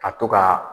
Ka to ka